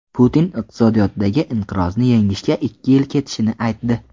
Putin iqtisodiyotdagi inqirozni yengishga ikki yil ketishini aytdi.